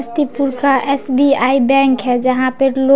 SBI bank है जहाँ पे लोग---